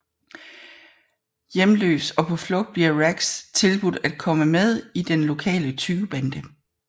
Hjemløs og på flugt bliver Rax tilbudt at komme med i den lokale tyvebande